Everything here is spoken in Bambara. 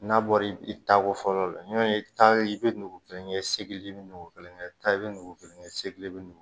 N'a bɔra i taa ko fɔlɔ la i bɛ taa i bɛ nugu kelen kɛ i bɛ nugu kelen kɛ i bɛ nugu kelen kɛ